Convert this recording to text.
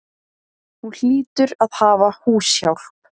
Hún hlýtur að hafa húshjálp.